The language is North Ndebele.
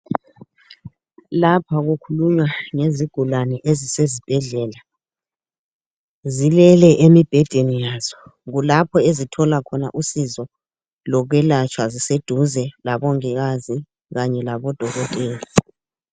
Lapha kukhulunywa ngezigulane ezisesibhedlela zilele emibhedeni yazo kulapho ezithola khona usizo lokwelatshwa ziseduze labongikazi kanye labodokotela.